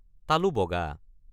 তালু বগা।